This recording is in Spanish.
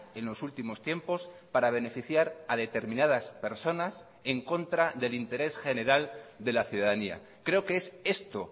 en los últimos tiempos para beneficiar a determinadas personas en contra del interés general de la ciudadanía creo que es esto